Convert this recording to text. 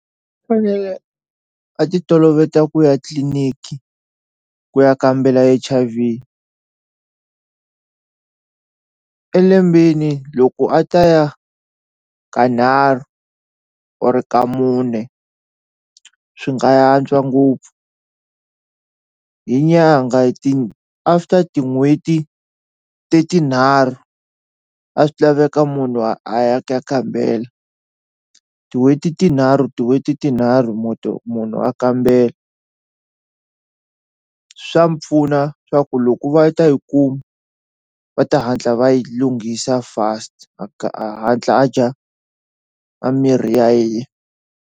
Fanele a ti toloveta ku ya tliliniki ku ya kambela H_I_V e lembeni loko a ta ya kanharhu or kamune swi nga antswa ngopfu hi nyangha after tin'hweti ti tinharhu a swi laveka munhu a ya ku ya kambela tin'hweti tinharhu tin'hweti tinharhu munhu a kambela swa mi pfuna swa ku loko va ta yi kuma va ta hatla va yi lunghisa fast a a hatla a dya a mirhi ya .